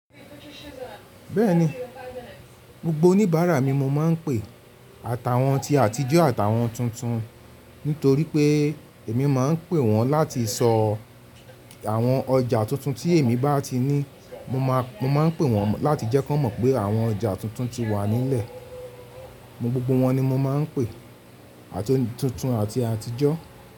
Bẹ́ẹ̀ni, gbogbo oníbàárà mi mo máa ń pe. Àtàwọn ti àtijọ́ àtàwọn titun. Nítorí pé èmi máa ń pè wọ́n láti sọ àwọn ọjà tuntun tí èmi bá ti ní. Mo máa ń pè wọ́n láti jẹ́ kí wọ́n mọ̀ pé àwọn ọjà tuntun ti wà nílẹ̀. Gbogbo wọn ni mo máa ń pè, ati tuntun àti àtijọ́.